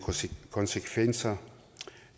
konsekvenser